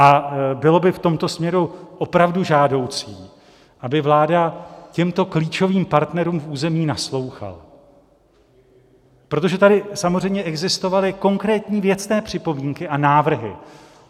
A bylo by v tomto směru opravdu žádoucí, aby vláda těmto klíčovým partnerům v území naslouchala, protože tady samozřejmě existovaly konkrétní věcné připomínky a návrhy.